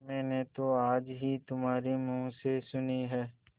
मैंने तो आज ही तुम्हारे मुँह से सुनी है